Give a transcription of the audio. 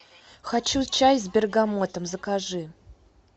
хочу чай с бергамотом закажи